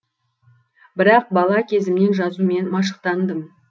бірақ бала кезімнен жазумен машықтандым